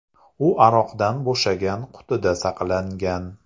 U aroqdan bo‘shagan qutida saqlangan.